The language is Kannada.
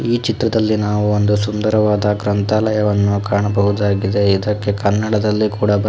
ಈ ಚಿತ್ರದಲ್ಲಿ ನಾವು ಒಂದು ಸುಂದರವಾದ ಗ್ರಂಥಾಲಯವನ್ನು ಕಾಣಬಹುದಾಗಿದೆ ಇದಕ್ಕೆ ಕನ್ನಡದಲ್ಲಿ ಕೂಡ ಬರೆ --